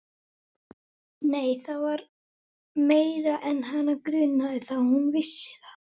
Nei, það var meira en hana grunaði það: hún vissi það.